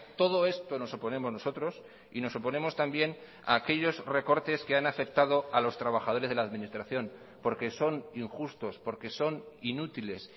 todo esto nos oponemos nosotros y nos oponemos también a aquellos recortes que han afectado a los trabajadores de la administración porque son injustos porque son inútiles